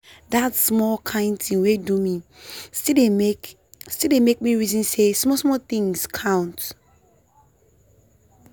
that small kind thing wey do me still dey make still dey make me reason say small small things count.